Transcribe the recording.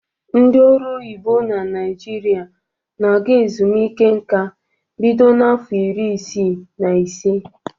Ndị ọrụ oyibo na Naịjirịa na-aga ezumike nka bido n'afọ iri isii na ise.